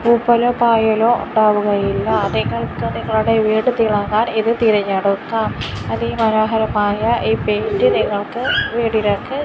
പൂപ്പലോ പായലോ ഉണ്ടാവുകയില്ല നിങ്ങൾക്ക് നിങ്ങളുടെ വീട് തിളങ്ങാൻ ഇത് തിരഞ്ഞെടുക്കാം അധി മനോഹരമായ ഈ പെയിന്റ് നിങ്ങൾക്ക് വീടുകൾക്ക്--